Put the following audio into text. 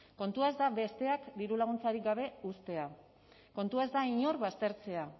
kontua ez da besteak dirulaguntzarik gabe uztea kontua ez da inor baztertzea